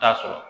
Taa sɔrɔ